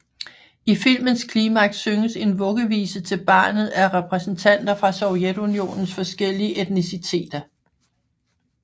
I filmens klimaks synges en vuggevise til barnet af repræsentanter fra Sovjetunionens forskellige etniciteter